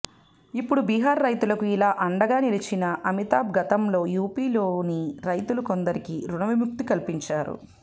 ఇప్పుడు బిహార్ రైతులకు ఇలా అండగా నిలిచిన అమితాబ్ గతంలో యూపీలోని రైతులు కొందరికి రుణవిముక్తి కల్పించారు